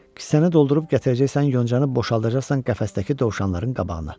Kisənə doldurub gətirəcəksən yoncanı boşaldacaqsan qəfəsdəki dovşanların qabağına.